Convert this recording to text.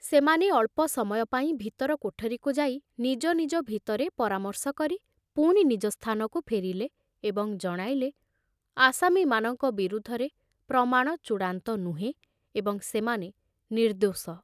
ସେମାନେ ଅଳ୍ପ ସମୟ ପାଇଁ ଭିତର କୋଠରୀକୁ ଯାଇ ନିଜ ନିଜ ଭିତରେ ପରାମର୍ଶ କରି ପୁଣି ନିଜ ସ୍ଥାନକୁ ଫେରିଲେ ଏବଂ ଜଣାଇଲେ, ଆସାମୀମାନଙ୍କ ବିରୁଦ୍ଧରେ ପ୍ରମାଣ ଚୂଡ଼ାନ୍ତ ନୁହେଁ ଏବଂ ସେମାନେ ନିର୍ଦ୍ଧୋଷ।